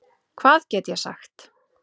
Hvað get ég sagt?